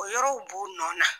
O yɔrɔw b'u nɔ na